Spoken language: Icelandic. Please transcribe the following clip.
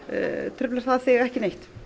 truflar það þig ekki neitt